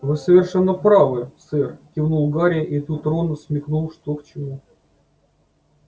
вы совершенно правы сэр кивнул гарри и тут рон смекнул что к чему